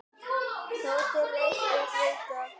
Tóti reis upp við dogg.